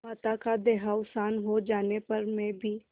माता का देहावसान हो जाने पर मैं भी